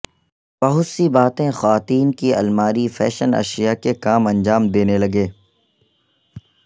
بہت سی باتیں خواتین کی الماری فیشن اشیاء کے کام انجام دینے لگے